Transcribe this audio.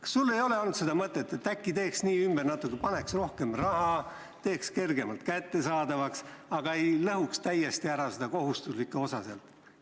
Kas sul ei ole olnud mõtet, et äkki teeks natuke ümber, paneks sambasse rohkem raha ja teeks selle hiljem kergemalt kättesaadavaks, aga ei lõhuks täiesti ära seda kohustuslikku osa?